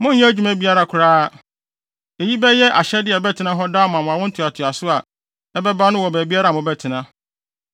Monnyɛ adwuma biara koraa. Eyi bɛyɛ ahyɛde a ɛbɛtena hɔ daa ama awo ntoatoaso a ɛbɛba no wɔ baabiara a mobɛtena.